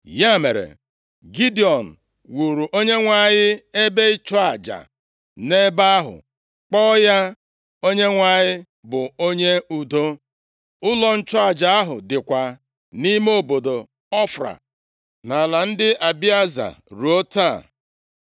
Ya mere, Gidiọn wuuru Onyenwe anyị ebe ịchụ aja nʼebe ahụ, kpọọ ya, Onyenwe anyị bụ Onye Udo. Ụlọ nchụaja ahụ dịkwa nʼime obodo Ofra nʼala ndị Abieza ruo taa.